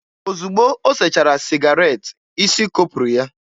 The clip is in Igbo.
Ozugbo o sechara sịgaret, isi kopụrụ ya.